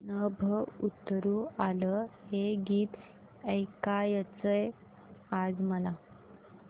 नभं उतरू आलं हे गीत ऐकायचंय आज मला